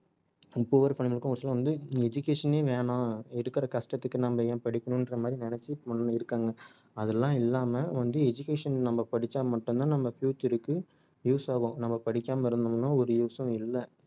poor வந்து education ஏ வேணாம் இருக்குற கஷ்டத்துக்கு நாம்ம ஏன் படிக்கணும்ன்ற மாதிரி நினைச்சு இருக்காங்க அதெல்லாம் இல்லாம வந்து education நம்ம படிச்சா மட்டும் தான் நம்ம future க்கு use ஆகும் நாம படிக்காம இருந்தோம்னா ஒரு use ம் இல்லை